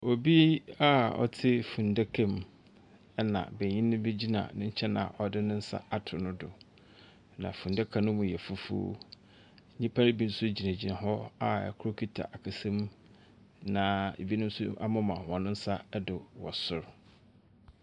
Obi a ɔte funu daka mu ɛna benyini bi gyina ne nkyɛn a ɔde ne nsa ato no do na funu daka no mu yɛ fufuo. Nnipa no bi nso gyina gyina hɔ a ɛkoro kita akasamu na ɛbi mo nso amema wɔn nsa do wɔ soro.